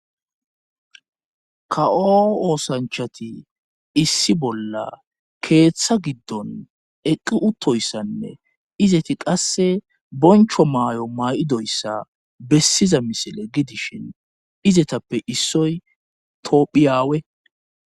kawo oosanchati issi bolla keeththa giddon eqqi uttoyssanne izeti qasse boncho maayo maa7idoyssa bessiza misile gidishin izetappe issoy toophiyaawe